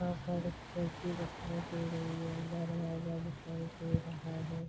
यहाँ पर कुर्सी दिखाई दे रही है दरवाजा दिखाई दे रहा है।